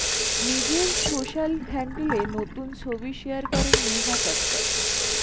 নিজের সোশ্যাল হ্যান্ডেলে নতুন ছবি শেয়ার করেন নেহা কক্কর